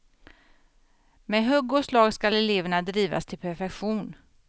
Med hugg och slag skall eleverna drivas till perfektion.